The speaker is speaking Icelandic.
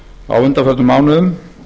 á undanförnum mánuðum